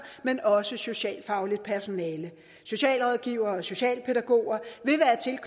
men også socialfagligt personale socialrådgivere og socialpædagoger